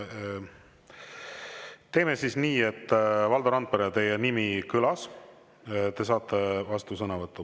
Teeme siis nii, et, Valdo Randpere, teie nimi kõlas, te saate vastusõnavõtu.